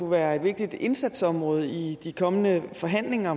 være et vigtigt indsatsområde i de kommende forhandlinger